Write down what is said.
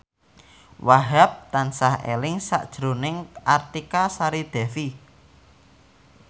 Wahhab tansah eling sakjroning Artika Sari Devi